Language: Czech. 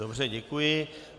Dobře děkuji.